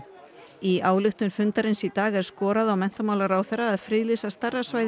í ályktun fundarins í dag er skorað á menntamálaráðherra að friðlýsa stærra svæði